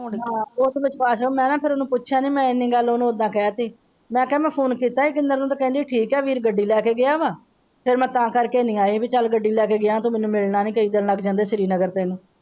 ਮੈਂ ਤੇ ਫੇਰ ਪੁੱਛਿਆ ਨਹੀਂ ਮੈਂ।